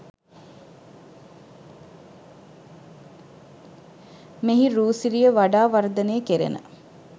මෙහි රූ සිරිය වඩා වර්ධනය කෙරෙන